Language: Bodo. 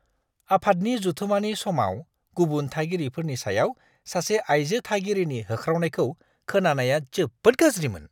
आफादनि जथुमानि समाव गुबुन थागिरिफोरनि सायाव सासे आयजो थागिरिनि होख्रावनायखौ खोनानाया जोबोद गाज्रिमोन।